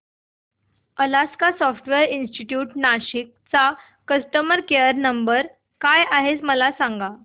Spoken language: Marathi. अलास्का सॉफ्टवेअर इंस्टीट्यूट नाशिक चा कस्टमर केयर नंबर काय आहे मला सांग